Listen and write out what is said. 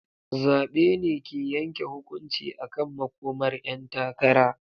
Zabe ne ke yanke hukunci akan makomar 'yan takara.